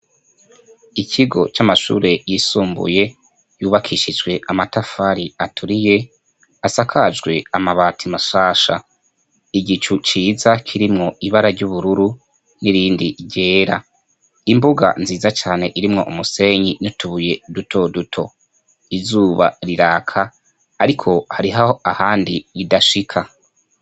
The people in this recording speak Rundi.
Ikigo c'amashure yisumbuye yubakishijwe amatafari aturiye asakajwe amabata mashasha igicu ciza kirimwo ibara ry'ubururu n'irindi ryera imbuga nziza cane irimwo umusenyi n'utubuye duto duto izuba rirana aka, ariko harihaho ahandi idashika.